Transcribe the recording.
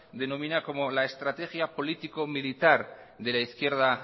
denomina como la estrategia político militar de la izquierda